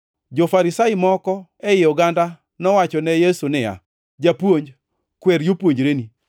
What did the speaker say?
Jo-Farisai moko ei oganda nowachone Yesu niya, “Japuonj, kwer jopuonjreni!”